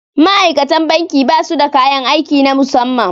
Ma'aikatan banki ba su da kayan aiki na musamman